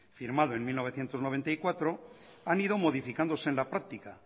firmado en mil novecientos noventa y cuatro han ido modificándose en la práctica